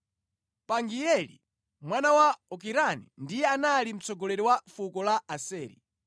Pagieli mwana wa Okirani ndiye anali mtsogoleri wa fuko la Aseri,